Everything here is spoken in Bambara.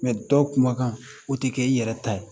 Mɛ dɔw kumakan o tɛ kɛ i yɛrɛ ta ye